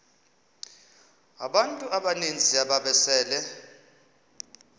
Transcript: abantu abaninzi ababesele